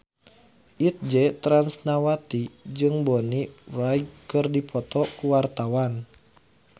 Itje Tresnawati jeung Bonnie Wright keur dipoto ku wartawan